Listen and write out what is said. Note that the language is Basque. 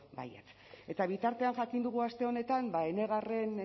baietz eta bitartean jakin dugu aste honetan enegarren